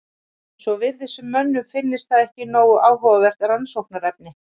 Svo virðist sem mönnum finnist það ekki nógu áhugavert rannsóknarefni.